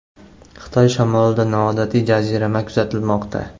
Xitoy shimolida noodatiy jazirama kuzatilmoqda.